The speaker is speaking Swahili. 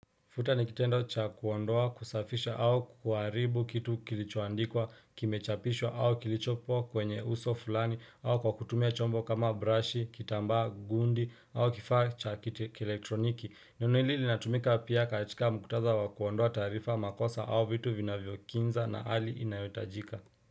Futa ni kitendo cha kuondoa, kusafisha au kuharibu kitu kilichoandikwa, kimechapishwa au kilichopwa kwenye uso fulani au kwa kutumia chombo kama brashi, kitambaa, gundi au kifaa cha elektroniki. Neno hili linatumika pia katika mkutadha wa kuondoa taarifa, makosa au vitu vinavyokinza na hali inayotajika.